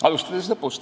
Alustan lõpust.